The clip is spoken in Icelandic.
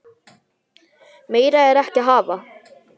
Meira er ekki að hafa.